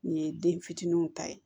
Nin ye den fitininw ta ye